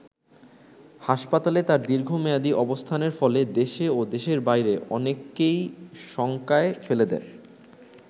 হাসপাতালে তার দীর্ঘমেয়াদী অবস্থানের ফলে দেশে ও দেশের বাইরে অনেককেই শঙ্কায় ফেলে দেয়।